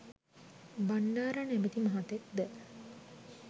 බණ්ඩාර නමැති මහතෙක් ද